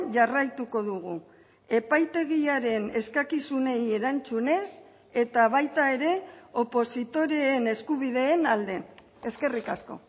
jarraituko dugu epaitegiaren eskakizunei erantzunez eta baita ere opositoreen eskubideen alde eskerrik asko